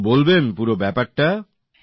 একটু বলবেন পুরো ব্যাপারটা